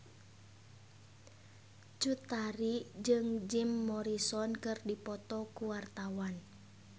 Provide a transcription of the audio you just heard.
Cut Tari jeung Jim Morrison keur dipoto ku wartawan